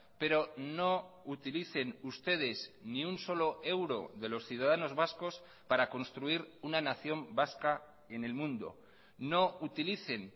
pero no utilicen ustedes ni un solo euro de los ciudadanos vascos para construir una nación vasca en el mundo no utilicen